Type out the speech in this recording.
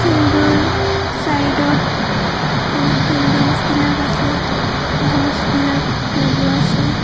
ফিল্ডৰ চাইডত বহুত বিল্ডিংছবিলাক আছে গছবিলাক লগোৱা আছে।